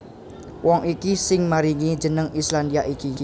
Wong iki sing maringi jeneng Islandia iki